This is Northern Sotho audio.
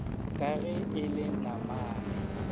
ka ge e le namane